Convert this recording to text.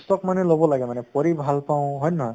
অক মানে লʼব লাগে মানে পঢ়ি ভাল পাওঁ হয় নে নহয়?